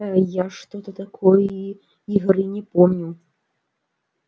я что-то такой игры не помню